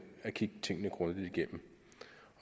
at kigge tingene grundigt igennem